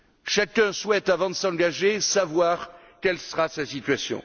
Chacun souhaite, avant de s'engager, savoir quelle sera sa situation.